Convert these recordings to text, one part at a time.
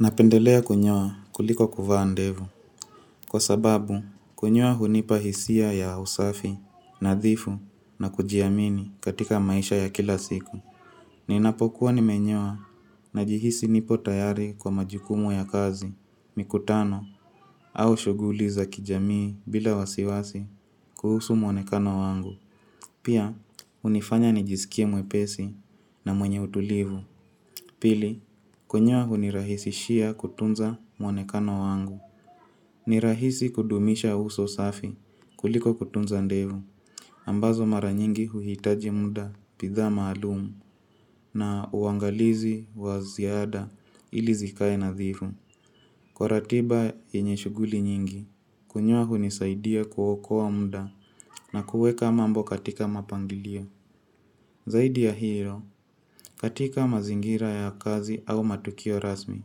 Napendelea kunyoa kuliko kuvaa ndevu, kwa sababu kunyoa hunipa hisia ya usafi, nadhifu na kujiamini katika maisha ya kila siku. Ninapokuwa nimenyoa najihisi nipo tayari kwa majukumu ya kazi, mikutano, au shughuli za kijamii bila wasiwasi kuhusu muonekano wangu. Pia, hunifanya nijisikie mwepesi na mwenye utulivu. Pili, kunyoa hunirahisishia kutunza muonekano wangu. Ni rahisi kudumisha uso safi kuliko kutunza ndevu. Ambazo mara nyingi uhitaji muda bidhaa maalum na uangalizi wa ziada ili zikae nadhifu. Kwa ratiba yenye shughuli nyingi, kunyoa hunisaidia kuokoa muda na kuweka mambo katika mapangilio. Zaidi ya hiyo, katika mazingira ya kazi au matukio rasmi.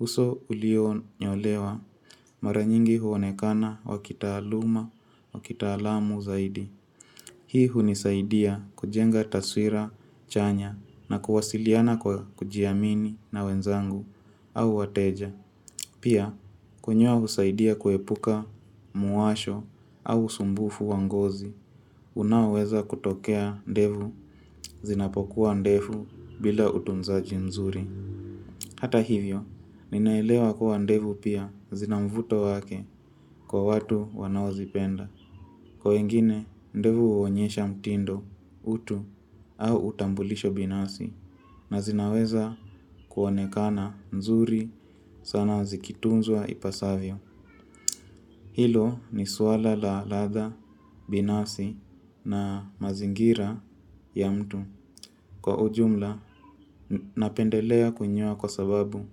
Uso ulionyolewa mara nyingi huonekana wa kitaaluma wakitalamu zaidi. Hii hunisaidia kujenga taswira chanya na kuwasiliana kwa kujiamini na wenzangu au wateja. Pia, kunyoa husaidia kuepuka muwasho au usumbufu wa ngozi. Unaoweza kutokea ndevu zinapokuwa ndefu bila utunzaji mzuri. Hata hivyo, ninaelewa kuwa ndevu pia zina mvuto wake kwa watu wanaozipenda. Kwa wengine, ndevu huonyesha mtindo, utu, au utambulisho binafsi na zinaweza kuonekana nzuri sana zikitunzwa ipasavyo. Hilo ni swala la ladha binafsi na mazingira ya mtu. Kwa ujumla napendelea kunyoa kwa sababu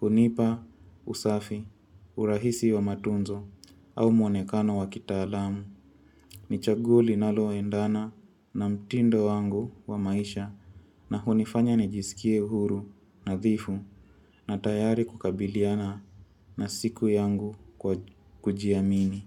hunipa usafi, urahisi wa matunzo au muonekano wa kitaalamu. Ni chaguo linaloendana na mtindo wangu wa maisha na hunifanya nijisikie huru nadhifu na tayari kukabiliana na siku yangu kwa kujiamini.